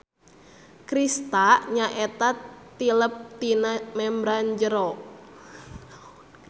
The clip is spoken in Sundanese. Krista nyaeta tilep tina membran jero.